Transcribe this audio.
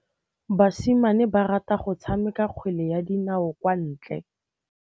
Basimane ba rata go tshameka kgwele ya dinaô kwa ntle.